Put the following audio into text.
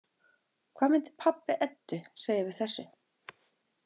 Hvað myndi pabbi Eddu segja við þessu?